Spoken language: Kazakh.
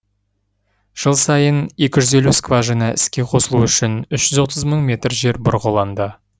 жыл сайын екі жүз елу скважина іске қосылуы үшін үш жүз отыз мың метр жер бұрғыланды